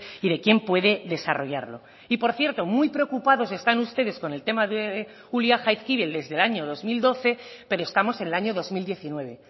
y de quién puede desarrollarlo y por cierto muy preocupados están ustedes con el tema de ulia jaizkibel desde el año dos mil doce pero estamos en el año dos mil diecinueve